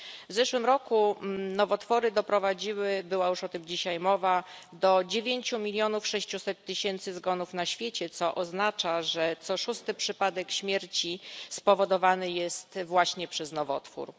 W zeszłym roku nowotwory doprowadziły była już o tym dzisiaj mowa do 9 milionów 600 tysięcy zgonów na świecie, co oznacza, że co szósty przypadek śmierci spowodowany jest właśnie przez nowotwór.